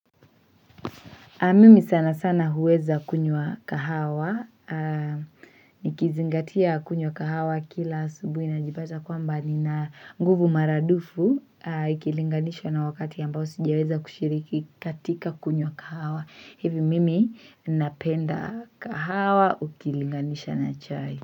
Mimi sana sana huweza kunywa kahawa, nikizingatia kunywa kahawa kila asubuhi najipata kwamba nina nguvu maradufu ikilinganishwa na wakati ambao sijiaweza kushiriki katika kunywa kahawa. Hivi mimi napenda kahawa ukilinganisha na chai.